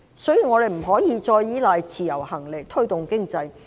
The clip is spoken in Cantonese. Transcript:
所以，我們現在不能再依賴自由行來推動經濟。